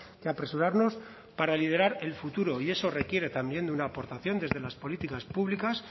que apresurarnos para liderar el futuro y eso requiere también de una aportación desde las políticas públicas